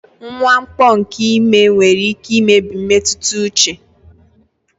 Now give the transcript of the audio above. Mwakpo nke ime nwere ike imebi mmetụta uche.